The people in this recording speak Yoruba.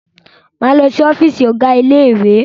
Máa lọ si ọ́fìsì ọ̀gá ilé ìwé.